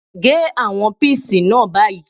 Gé àwọn píìsì náà báyìí!